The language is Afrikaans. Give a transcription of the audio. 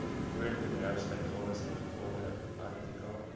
voorbedryfsuitgawes ingevolge artikel